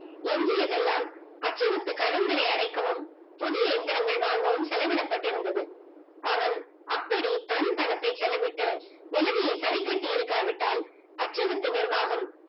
என்னது இது எல்லாம் அத்தை விட்டு கடன்களை அடைக்கவும் புது இயந்திரங்கள் வாங்கவும் செலவிட பட்டிருந்தது அவன் அப்படி தன் பணத்தை செலவிட்டு நிலமையே சரி கட்டியிருக்கா விட்டால் அத்தை வீட்டு நிர்வாகம்